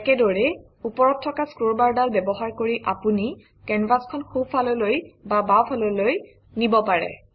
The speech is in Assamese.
একেদৰেই ওপৰত থকা স্ক্ৰলবাৰডাল ব্যৱহাৰ কৰি আপুনি কেনভাচখন সোঁফাললৈ বা বাওঁফাললৈ নিব পাৰে